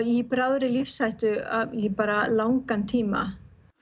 í bráðri lífshættu í langan tíma